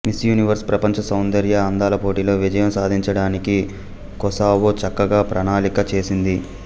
miss Universe ప్రపంచ సౌందర్య అందాల పోటీలో విజయం సాధించడానికి కొసావో చక్కగా ప్రణాళిక చేసింది